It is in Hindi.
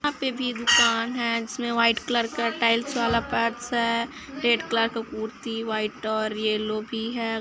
यहाँ पे भी दुकान है जिसमे व्हाइट कलर का टाइल्स वाला पार्ट्स है रेड कलर का कुर्ती व्हाइट और येलो भी है ।